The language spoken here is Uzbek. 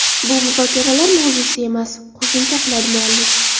Bu muzokaralar mavzusi emas”, qo‘shimcha qiladi muallif.